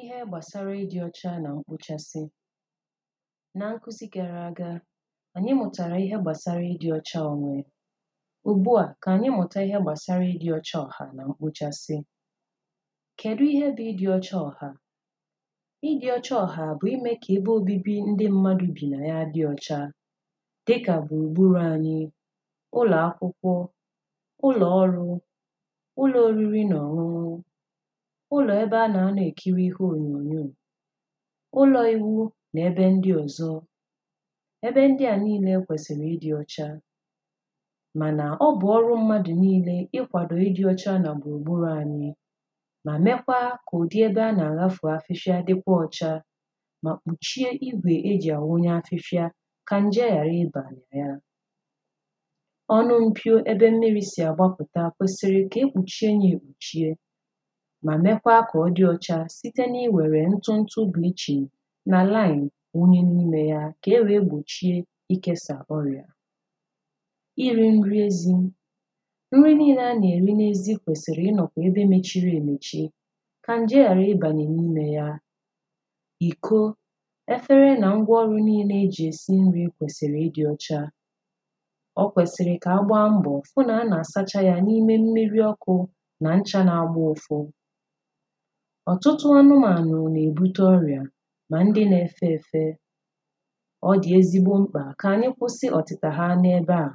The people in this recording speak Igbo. Ihe gbasara ịdị ọcha na mkpochasị na nkụzi gara aga anyị mụtara ihe gbasara ịdị ọcha onwe Ugbu a ka anyị mụta ihe gbasara ịdị ọcha ọha na mkpochasị Kedụ ihe bụ ịdị ọcha ọha Ịdị ọcha ọha bụ ime ka ebe obibi ndị mmadụ bi na ya dị ọcha dịka gburugburu anyị ụlọ akwụkwọ ụlọ ọrụ ụlọ oriri na ọṅụṅụ ụlọ ebe a na-anọ ekiri ihe onyoonyo ụlọ iwu na ebe ndị ọzọ Ebe ndị a niile kwesịrị ịdị ọcha mana ọ bụ ọrụ mmadụ niile ịkwado ịdị ọcha na gburugburu anyị ma mekwaa ka ụdị ebe a na-ahafu afịfịa dikwa ọcha ma kpuchie igwe e ji awụnye afịfịa ka nje ghara ịba na ya. Ọnụ mpio ebe mmiri si agbapụta kwesịrị ka e kpuchie ya ekpuchie ma mekwaa ka ọ dị ọcha site n'iwere ntụntụ bleaching na lime wụnye n'ime ya ka e wee gbochie ikesa ọrịa Iri nri ezi Nri niile a na-eri n'ezi kwesịrị ịnọ n'ebe mechiri emechi ka nje ghara ịbanye n'ime ya Iko ,efere na ngwa ọrụ niile e ji esi nri kwesịrị ịdị ọcha. Ọ kwesịrị ka a gbaa mbọ hụ na a na-asacha ya n'ime mmiri ọkụ na ncha na-agba ụfụ Ọtụtụ anụmanụ na-ebute ọrịa Ma ndị na-efe efe Ọ dị ezigbo mkpa ka anyị kwụsị ọtịta ha n'ebe a